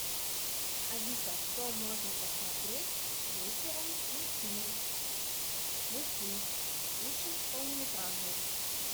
алиса что можно посмотреть вечером с детьми мультфильм лучше полнометражный